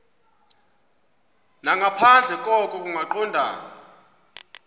nangaphandle koko kungaqondani